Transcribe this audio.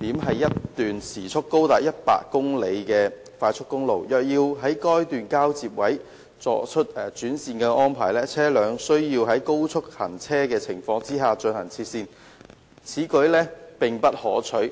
點是一段時速高達100公里的快速公路，若要在該交接點轉換行車安排，車輛將需要在高速行車的情況下切線，此舉並不可取。